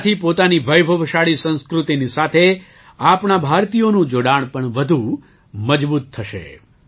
તેનાથી પોતાની વૈભવશાળી સંસ્કૃતિની સાથે આપણા ભારતીયોનું જોડાણ વધુ મજબૂત થશે